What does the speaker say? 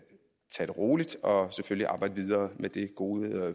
tage det roligt og selvfølgelig arbejde videre med det gode